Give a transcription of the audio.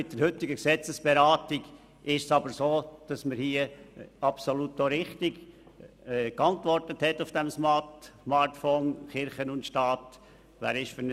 Die heutige Gesetzesberatung zeigt jedoch, dass wir in dieser Sache auch auf Smartvote richtig geantwortet haben.